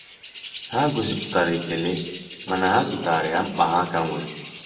Ha gosipụtara ekele mana ha chetara ya mkpa ha ka nwere.